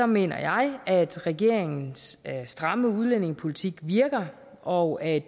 mener jeg at regeringens stramme udlændingepolitik virker og at